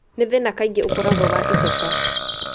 Nĩ thĩna kaingĩ ũkorago wa icoka.